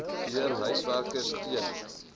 deur huiswerkers teen